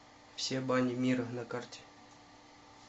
все бани мира на карте